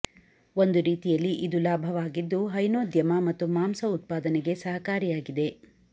ಒಂದು ರೀತಿಯಲ್ಲಿ ಇದು ಲಾಭವಾಗಿದ್ದು ಹೈನೋದ್ಯಮ ಮತ್ತು ಮಾಂಸ ಉತ್ಪಾದನೆಗೆ ಸಹಕಾರಿಯಾಗಿದೆ